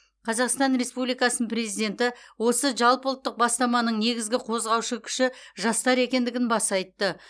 қазақстан республикасының президенті осы жалпыұлттық бастаманың негізгі қозғаушы күші жастар екендігін баса айтты